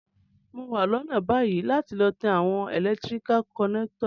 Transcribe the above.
Mo wa lónà bayi láti lo tan àwon electrical connector